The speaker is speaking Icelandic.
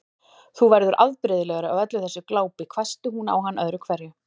Þú verður afbrigðilegur af öllu þessu glápi hvæsti hún á hann öðru hverju.